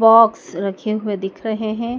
box रखे हुए दिख रहे हैं